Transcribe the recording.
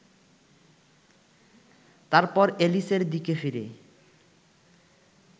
তারপর এলিসের দিকে ফিরে